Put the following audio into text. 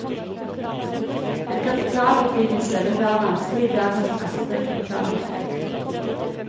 En kapitalutvidelse vil være vanskelig i dagens pressede kapitalmarked.